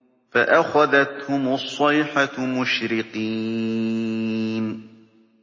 فَأَخَذَتْهُمُ الصَّيْحَةُ مُشْرِقِينَ